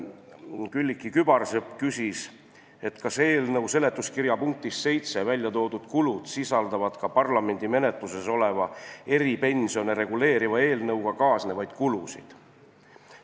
Külliki Kübarsepp küsis, kas eelnõu seletuskirja punktis 7 toodud kulud sisaldavad ka parlamendi menetluses oleva eripensione reguleeriva eelnõuga kaasnevaid kulusid.